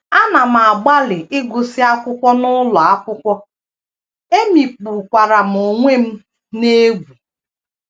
Ana m agbalị ịgụsị akwụkwọ n’ụlọ akwụkwọ, emikpukwara m onwe m n’egwú.